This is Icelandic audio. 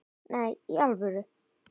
Nei, í alvöru.